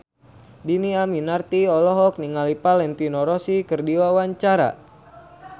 Dhini Aminarti olohok ningali Valentino Rossi keur diwawancara